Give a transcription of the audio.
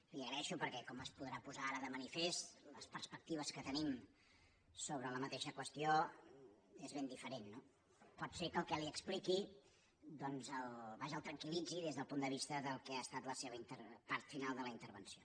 li ho agraeixo perquè com es podrà posar ara de manifest les perspectives que tenim sobre la mateixa qüestió són ben diferents no pot ser que el que li expliqui doncs vaja el tranquillitzi des del punt de vista del que ha estat la seva part final de la intervenció